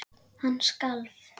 Hann skalf.